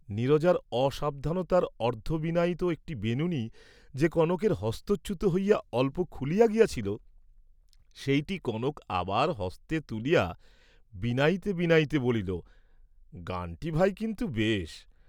নীরজার অসাবধানতার অর্ধবিনায়িত একটি বিনুনী যে কনকের হস্তচ্যুত হইয়া অল্প খুলিয়া গিয়াছিল, সেইটি কনক আবার হস্তে তুলিয়া বিনাইতে বিনাইতে বলিল, "গানটি ভাই কিন্তু বেশ।"